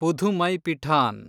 Pudhumaipithan